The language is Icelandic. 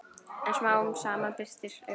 En smám saman birtir upp.